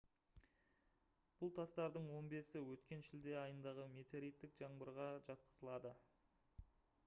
бұл тастардың он бесі өткен шілде айындағы метеориттік жаңбырға жатқызылады